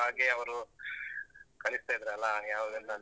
ಹಾಗೇ ಅವ್ರು ಕಲಿಸ್ತಾ ಇದ್ರಲ್ಲ? ಯಾವ್ದೆಲ್ಲಾ.